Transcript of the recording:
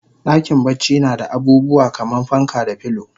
Dakin bacci nada abubuwa kaman fanka da filo